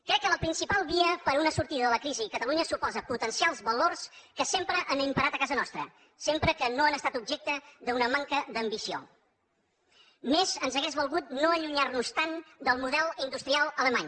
crec que la principal via per a una sortida de la crisi a catalunya suposa potenciar els valors que sempre han imperat a casa nostra sempre que no han estat objecte d’una manca d’ambició més ens hauria valgut no allunyar nos tant del model industrial alemany